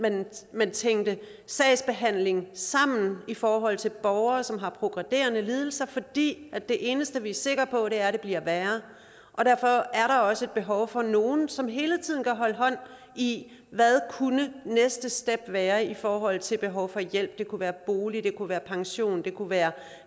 man tænkte sagsbehandling sammen i forhold til borgere som har progredierende lidelser fordi det eneste vi er sikre på er at det bliver værre og derfor er der også behov for nogle som hele tiden kan holde hånd i hvad næste step være i forhold til behov for hjælp det kunne være bolig det kunne være pension det kunne være